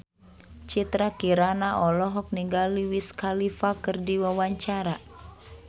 Citra Kirana olohok ningali Wiz Khalifa keur diwawancara